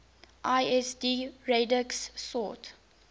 lsd radix sort